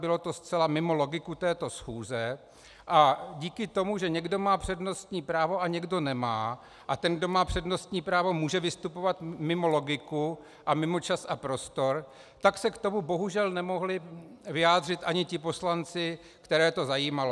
Bylo to zcela mimo logiku této schůze a díky tomu, že někdo má přednostní právo a někdo nemá, a ten kdo má přednostní právo, může vystupovat mimo logiku a mimo čas a prostor, tak se k tomu bohužel nemohli vyjádřit ani ti poslanci, které to zajímalo.